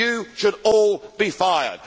You should all be fired.